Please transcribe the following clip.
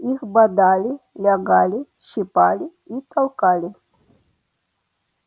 их бодали лягали щипали и толкали